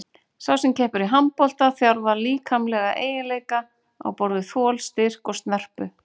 Sú sem keppir í handbolta þjálfar líkamlega eiginleika á borð við þol, styrk og snerpu.